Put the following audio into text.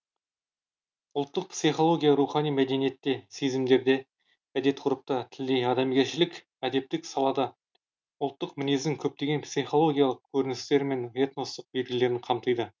ұлттық психология рухани мәдениетте сезімдерде әдет ғұрыпта тілде адамгершілік әдептік салада ұлттық мінездің көптеген психологиялық көріністері мен этностық белгілерін қамтиды